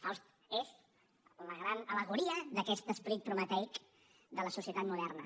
el faust és la gran al·legoria d’aquest esperit prometeic de la societat moderna